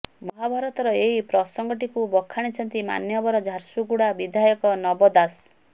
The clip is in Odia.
ମହାଭାରତର ଏହି ପ୍ରସଙ୍ଗଟିକୁ ବଖାଣିଛନ୍ତି ମାନ୍ୟବର ଝାରସୁଗୁଡ଼ା ବିଧାୟକ ନବ ଦାସ